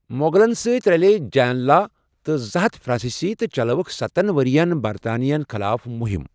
مۄغلن سۭتۍ رلییہِ جین لا تہٕ زٕ ہتھ فرٛانسیسی تہٕ چلٲوكھ ستن ورِین برطانوین خٕلاف مُہم ۔